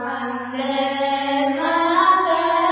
vocal Vande Mataram